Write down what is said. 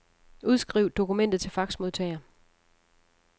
Udskriv dokumentet til faxmodtager.